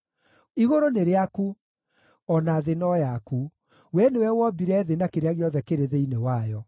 Igũrũ nĩ rĩaku, o na thĩ no yaku; Wee nĩwe wombire thĩ na kĩrĩa gĩothe kĩrĩ thĩinĩ wayo.